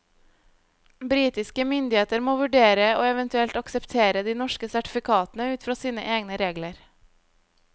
Britiske myndigheter må vurdere og eventuelt akseptere de norske sertifikatene ut fra sine egne regler.